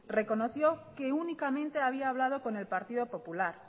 reconoció que únicamente había hablado con el partido popular